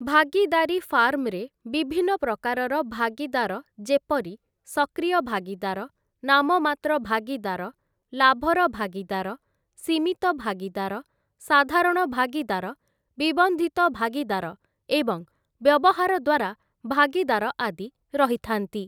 ଭାଗୀଦାରୀ ଫାର୍ମରେ ବିଭିନ୍ନ ପ୍ରକାରର ଭାଗୀଦାର ଯେପରି 'ସକ୍ରିୟ ଭାଗୀଦାର', 'ନାମମାତ୍ର ଭାଗୀଦାର', 'ଲାଭର ଭାଗୀଦାର', 'ସୀମିତ ଭାଗୀଦାର', 'ସାଧାରଣ ଭାଗୀଦାର', 'ବିବନ୍ଧିତ ଭାଗୀଦାର', ଏବଂ 'ବ୍ୟବହାର ଦ୍ୱାରା ଭାଗୀଦାର' ଆଦି ରହିଥାନ୍ତି ।